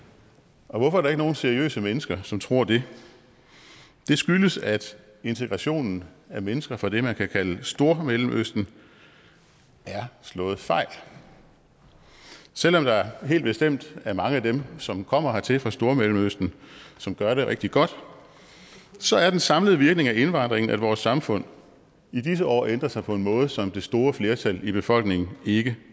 hvorfor er der ikke nogen seriøse mennesker som tror det det skyldes at integrationen af mennesker fra det man kan kalde stormellemøsten er slået fejl selv om der helt bestemt er mange af dem som kommer hertil fra stormellemøsten som gør det rigtig godt så er den samlede virkning af indvandringen at vores samfund i disse år ændrer sig på en måde som det store flertal i befolkningen ikke